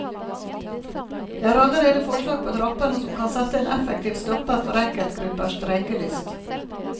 Det er allerede forslag på trappene som kan sette en effektiv stopper for enkeltgruppers streikelyst.